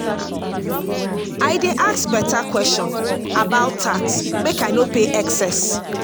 i dey ask beta question about tax make i no pay excess.